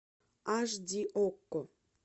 аш ди окко